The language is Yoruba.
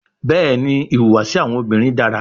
Bẹẹni, ihuwasi awọn obinrin dara